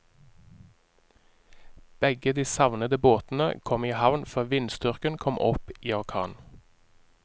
Begge de savnede båtene kom i havn før vindstyrken kom opp i orkan.